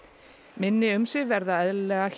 minni umsvif verða eðlilega hjá